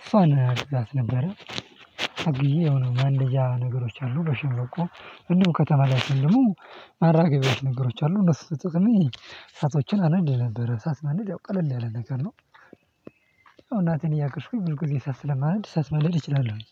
እሷን አግዛት ነበረ። አግዤ የሆነ ማንደጃ ነገሮች አሉ በሸንበቆ እንዲሁም ከተማ ላይ ስሆን ደሞ ማራገቢያዎች ነገሮች አሉ እነሱ ተጠቅሜ እሳቶችን አነድ ነበር። እሳት መነደድ ያው ቀለል ያለ ነገር ነው። እያገዝኩኝ ብዙ ጊዜ እሳት ስለማነድ እሳት ማንደድ እችላለሁኝ